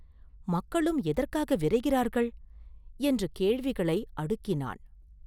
மக்களும் எதற்காக விரைகிறார்கள்?” என்று கேள்விகளை அடுக்கினான்.